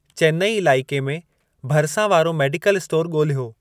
चेन्नई इलाइके में भरिसां वारो मेडिकल स्टोर ॻोल्हियो।